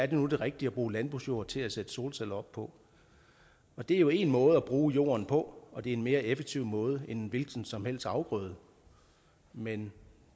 det nu det rigtige at bruge landbrugsjord til at sætte solceller op på det er jo én måde at bruge jorden på og det er en mere effektiv måde end en hvilken som helst afgrøde men